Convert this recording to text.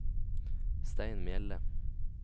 Stein Mjelde